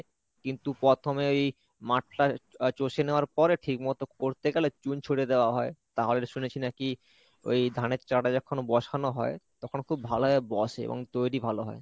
কিন্তু প্রথমেই মাঠটা চষে নেওয়ার পরে ঠিক মতো করতে গেলে চুন ছুঁড়ে দেওয়া হয়, তাহলে শুনেছি নাকি ওই ধানের চারাটা যখন বসানো হয়, তখন খুব ভালোভাবে বসে এবং তৈরি ভালো হয়।